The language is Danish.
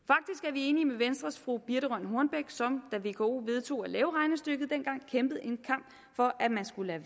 vi enige med venstres fru birthe rønn hornbech som da vko vedtog at lave regnestykket dengang kæmpede en kamp for at man skulle